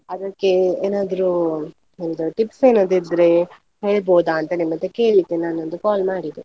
ಅದಕ್ಕೆ ಏನಾದ್ರೂ ಹೌದು tips ಏನಾದ್ರೂ ಇದ್ರೆ ಹೇಳ್ಬೋದಾ ಅಂತ ನಿಮ್ ಹತ್ರ ಕೇಳ್ಳಿಕೆ ನಾನ್ ಒಂದು call ಮಾಡಿದ್ದು.